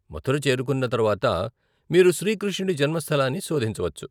మథుర చేరుకున్న తరువాత, మీరు శ్రీ కృష్ణుడి జన్మస్థలాన్ని శోధించవచ్చు.